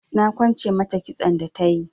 Na kwance mata kitson da tayi.